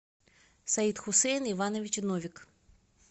саид хусейн иванович новик